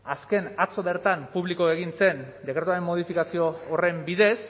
azken atzo bertan publiko egin zen dekretuaren modifikazio horren bidez